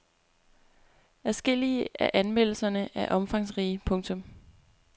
Adskillige af anmeldelserne er omfangsrige. punktum